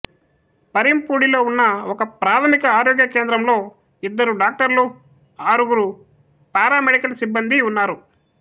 పరింపూడిలో ఉన్న ఒకప్రాథమిక ఆరోగ్య కేంద్రంలో ఇద్దరు డాక్టర్లు ఆరుగురు పారామెడికల్ సిబ్బందీ ఉన్నారు